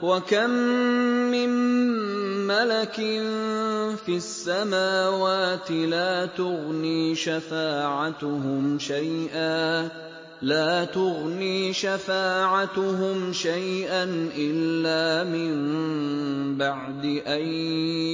۞ وَكَم مِّن مَّلَكٍ فِي السَّمَاوَاتِ لَا تُغْنِي شَفَاعَتُهُمْ شَيْئًا إِلَّا مِن بَعْدِ أَن